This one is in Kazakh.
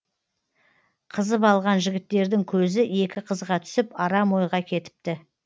қызып алған жігіттердің көзі екі қызға түсіп арам ойға кетіпті